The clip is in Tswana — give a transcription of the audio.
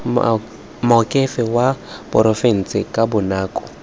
moakhaefe wa porofense ka bonako